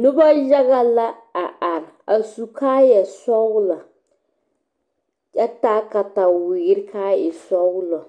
Noba yaga la a are a su kaayɛ sɔgelɔ kyɛ taa katawiiri kaa e sɔgelɔ